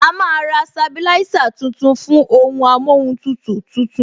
A máa ra sabilisa tuntun fún ohun amóhun tutù tuntun